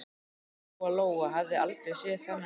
Lóa Lóa hafði aldrei séð þennan mann.